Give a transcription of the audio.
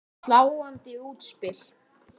Sláandi útspil.